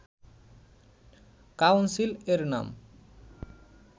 council এর নাম